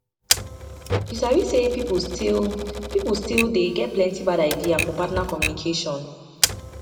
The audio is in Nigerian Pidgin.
you sabi say people still people still dey get plenty bad idea for partner communication